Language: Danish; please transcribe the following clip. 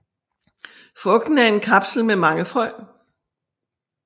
Frugten er en kapsel med mange frø